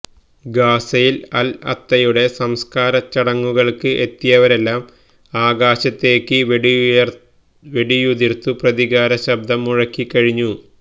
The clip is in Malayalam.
ഗാസയിൽ അൽ അത്തയുടെ സംസ്കാരച്ചടങ്ങുകൾക്ക് എത്തിയവരെല്ലാം ആകാശത്തേക്കു വെടിയുതിർത്തു പ്രതികാര ശബ്ദം മുഴക്കിക്കഴിഞ്ഞു